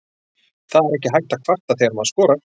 Það er ekki hægt að kvarta þegar maður skorar?